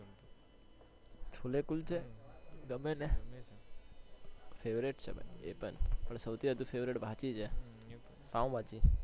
છોલે કુલચા ગમે છે ને favourite છે ભાઈ પણ સૌથી વધુ favourite ભાજી છે પાવ ભાજી